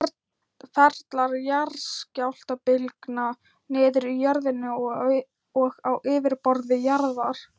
Ferlar jarðskjálftabylgna niður í jörðinni og á yfirborði jarðar.